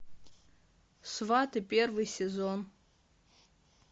сваты первый сезон